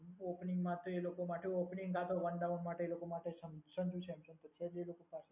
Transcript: opening માટે એ લોકો માટે ઓપનિંગમાં તો વન ડાઉટ માટે એ લોકો માટે સંજુ સેમસંગ છે